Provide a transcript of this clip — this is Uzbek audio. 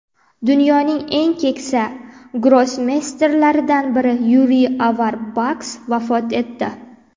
Dunyoning eng keksa grossmeysterlaridan biri Yuriy Averbax vafot etdi.